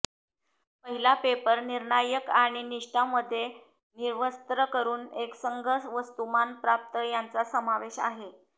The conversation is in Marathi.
पहिला पेपर निर्णायक आणि निष्ठा मध्ये निर्वस्त्र करून एकसंध वस्तुमान प्राप्त यांचा समावेश आहे